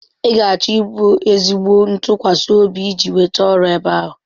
Ị ga-achọ ịbụ ezigbo ntụkwasị obi iji nweta ọrụ ebe ahụ.